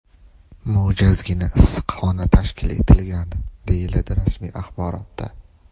Mo‘jazgina issiqxona tashkil etilgan”, deyiladi rasmiy axborotda.